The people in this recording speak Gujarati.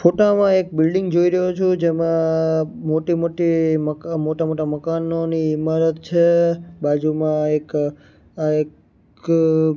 ફોટામાં એક બિલ્ડિંગ જોઈ રહ્યો છુ જેમા મોટી મોટી મકા મોટા મોટા મકાનોની ઇમારત છે બાજુમાં એક આ એક--